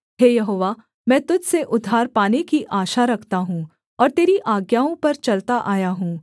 हे यहोवा मैं तुझ से उद्धार पाने की आशा रखता हूँ और तेरी आज्ञाओं पर चलता आया हूँ